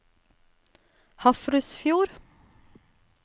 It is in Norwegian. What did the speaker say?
Hafrsfjord